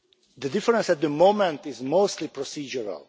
The difference at the moment is mostly procedural.